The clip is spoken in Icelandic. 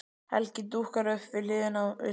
Helgi dúkkar upp við hlið mér.